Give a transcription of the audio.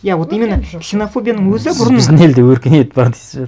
иә вот именно ксенофобияның өзі бұрын сіз біздің елде өркениет бар дейсіз бе